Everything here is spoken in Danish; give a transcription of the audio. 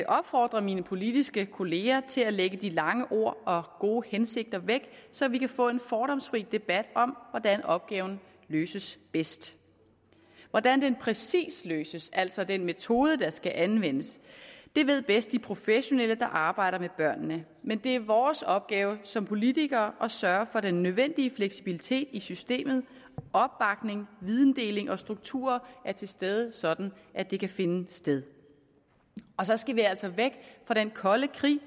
opfordre mine politiske kolleger til at lægge de lange ord og gode hensigter væk så vi kan få en fordomsfri debat om hvordan opgaven løses bedst hvordan den præcis løses altså hvilken metode der skal anvendes ved bedst de professionelle der arbejder med børnene men det er vores opgave som politikere at sørge for at den nødvendige fleksibilitet i systemet opbakning videndeling og strukturer er til stede sådan at det kan finde sted så skal vi altså væk fra den kolde krig